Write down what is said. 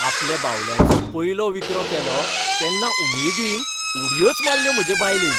आपल्या बावल्यांचो पयलो विकरो केलो तेन्ना उमेदीन उडयोच मारल्यो म्हजे बायलेन.